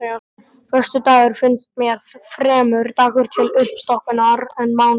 Föstudagur finnst mér fremur dagur til uppstokkunar en mánudagur.